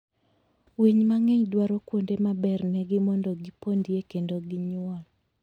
winy mang'eny dwaro kuonde ma bernegi mondo gipondie kendo ginyuol.